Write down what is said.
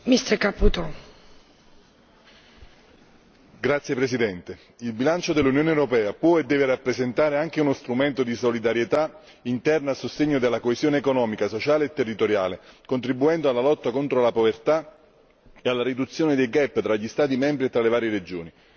Signora Presidente, onorevoli colleghi, il bilancio dell'Unione europea può e deve rappresentare anche uno strumento di solidarietà interna a sostegno della coesione economica, sociale e territoriale, contribuendo alla lotta contro la povertà e alla riduzione dei tra gli Stati membri e tra le varie regioni.